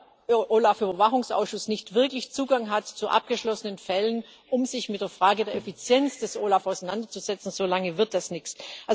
Solange der OLAF-Überwachungsausschuss nicht wirklich zu abgeschlossenen Fällen Zugang hat, um sich mit der Frage der Effizienz des OLAF auseinanderzusetzen, solange wird das nichts.